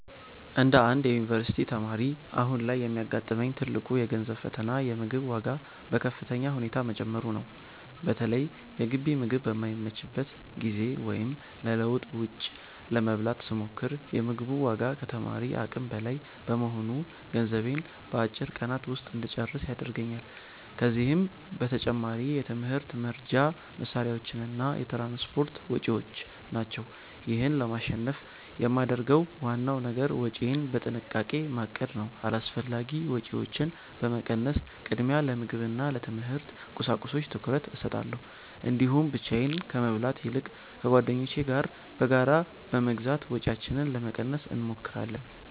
እንደ አንድ የዩኒቨርሲቲ ተማሪ፣ አሁን ላይ የሚያጋጥመኝ ትልቁ የገንዘብ ፈተና የምግብ ዋጋ በከፍተኛ ሁኔታ መጨመሩ ነው። በተለይ የግቢ ምግብ በማይመችበት ጊዜ ወይም ለለውጥ ውጭ ለመብላት ስሞክር፤ የ ምግቡ ዋጋ ከተማሪ አቅም በላይ በመሆኑ ገንዘቤን በአጭር ቀናት ውስጥ እንጨርስ ያደርገኛል። ከዚህም በተጨማሪ የትምህርት መርጃ መሣሪያዎችና የትራንስፖርት ወጪዎች ናቸው። ይህን ለማሸነፍ የማደርገው ዋናው ነገር ወጪዬን በጥንቃቄ ማቀድ ነው። አላስፈላጊ ወጪዎችን በመቀነስ፣ ቅድሚያ ለምግብና ለትምህርት ቁሳቁሶች ትኩረት እሰጣለሁ። እንዲሁም ብቻዬን ከመብላት ይልቅ ከጓደኞቼ ጋር በጋራ በመግዛት ወጪያችንን ለመቀነስ እንሞክራለን።